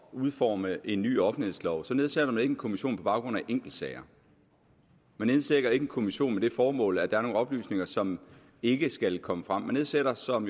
at udforme en ny offentlighedslov så nedsætter man ikke en kommission på baggrund af enkeltsager man nedsætter ikke en kommission med det formål at der er nogle oplysninger som ikke skal komme frem man nedsætter som